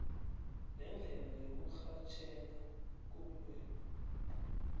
lendlela yokurhatjheka kobulwelwe